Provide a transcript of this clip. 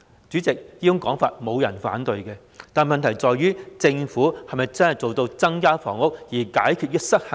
主席，沒有人會反對這種說法，但問題是政府能否真正做到增加房屋、解決失衡呢？